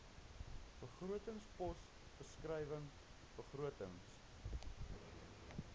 begrotingspos beskrywing begrotings